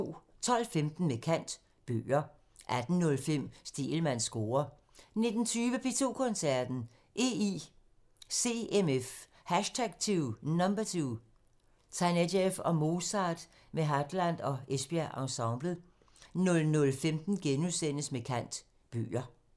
12:15: Med kant – Bøger 18:05: Stegelmanns score 19:20: P2 Koncerten – EICMF #2: Tanejev og Mozart med Hadland og Esbjerg Ensemblet 00:15: Med kant – Bøger *